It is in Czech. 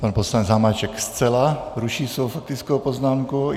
Pan poslanec Hamáček zcela ruší svou faktickou poznámku.